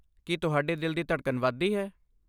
ਕੀ ਤੁਹਾਡੇ ਦਿਲ ਦੀ ਧੜਕਨ ਵੱਧਦੀ ਹੈ?